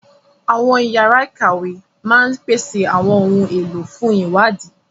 Àwọn yàrá ìkàwé máa ń pèsè àwọn ohun èlò fún ìwádìí